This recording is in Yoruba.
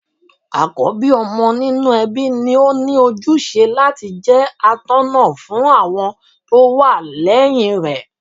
Àkọ́bí ọmọ nínú ẹbí ni óní ojúṣe láti jẹ́ atọ́ná fún àwọn tó wà lẹ́yìn rẹ̀.